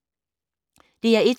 DR1